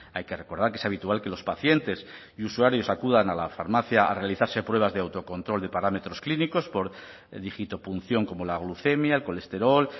hay que recordar que es habitual que los pacientes y usuarios acudan a la farmacia a realizarse pruebas de autocontrol de parámetros clínicos por dígitopunción como la glucemia el colesterol